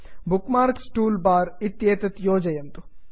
book marks toolbar bookmarks toolbar इत्येतत् योजयन्तु